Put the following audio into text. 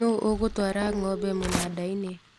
Nũ ũgũtwara ngombe mũnandainĩ